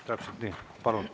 Palun!